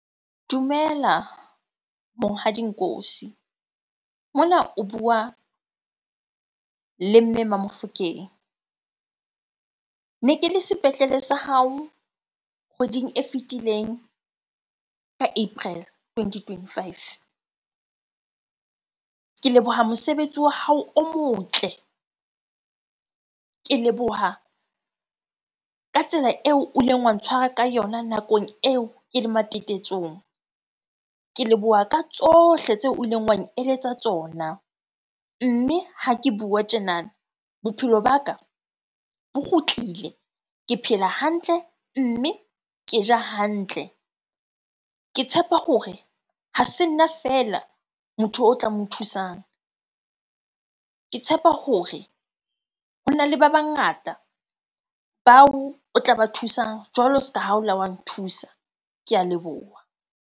Dumela Monghadi Nkosi. Mona o bua le Mme Mamofokeng. Ne ke le sepetlele sa hao kgweding e fetileng ka April twenty twenty-five. Ke leboha mosebetsi wa hao o motle, ke leboha ka tsela eo o ileng wa ntshwara ka yona nakong eo ke le matetetsong, ke leboha ka tsohle tseo o ileng wa eletsa tsona. Mme ha ke bua tjenana, bophelo ba ka bo kgutlile. Ke phela hantle mme ke ja hantle. Ke tshepa hore ha se nna fela motho o tla mo thusang. Ke tshepa hore hona le ba bangata bao o tla ba thusang jwalo ska ha o la wa nthusa. Ke a leboha.